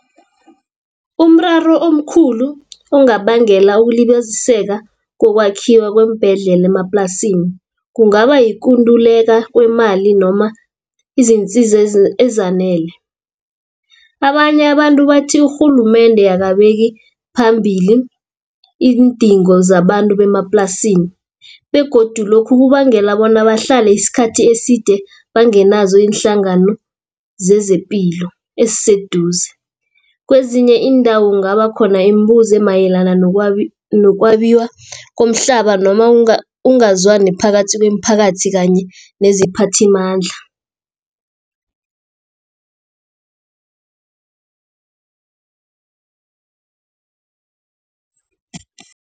Umraro omkhulu ongabangela ukulibaziseka kokwakhiwa kweembhedlela emaplasini, kungaba yikunduleka kweemali noma izinsiza ezanele. Abanye abantu bathi urhulumende akabeki phambili iindingo zabantu bemaplasini, begodu lokhu kubangela bona bahlale isikhathi eside bangenazo iinhlangano zezepilo eziseduze. Kwezinye iindawo kungaba khona imibuzo emayelana nokwabiwa komhlaba, noma ungazwani phakathi kwemiphakathi kanye neziphathimandla.